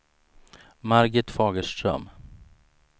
Margit Fagerström